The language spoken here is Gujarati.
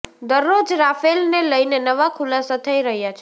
દરરોજ રાફેલને લઈને નવા ખુલાસા થઈ રહ્યા છે